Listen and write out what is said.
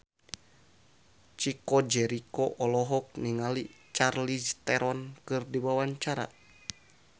Chico Jericho olohok ningali Charlize Theron keur diwawancara